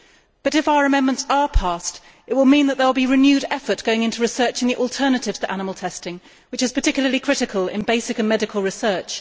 But, if our amendments are passed, it will mean that there will be renewed effort going into research and the alternatives to animal testing, which is particularly critical in basic and medical research.